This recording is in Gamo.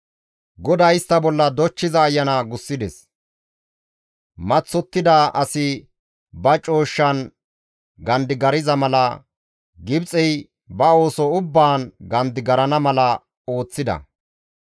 GODAY istta bolla dochchiza ayana gussides; maththottida asi ba cooshshan gandigarza mala Gibxey ba ooso ubbaan gandigarana mala ooththida.